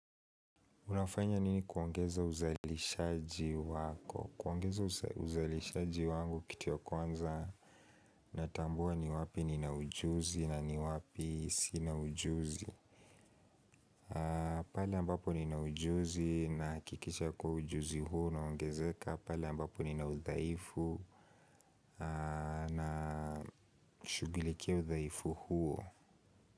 Unafanya nini kuongeza uzalishaji wako? Kuongeza uzalishaji wangu kitu ya kwanza Natambua ni wapi ni na ujuzi na ni wapi sina ujuzi na pale ambapo ni na ujuzi nahakikisha kuwa ujuzi huo unaongezeka pale ambapo nina udhaifu na shugilikia udhaifu huo.